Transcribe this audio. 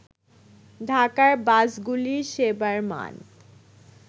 ঢাকার বাসগুলির সেবার মান